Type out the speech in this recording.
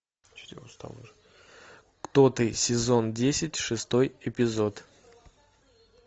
кто ты сезон десять шестой эпизод